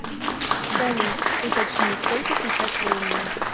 салют уточни сколько сейчас времени